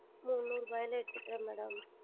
நூறு ரூபாயில் எடுத்து கொள்ளுகிறேன் Madam